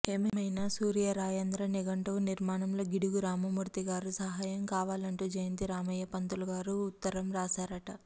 ఏమయినా సూర్యరాయాంధ్ర నిఘంటువు నిర్మాణంలో గిడుగు రామమూర్తిగారి సహాయం కావాలంటూ జయంతి రామయ్య పంతులుగారు ఉత్తరంరాశారట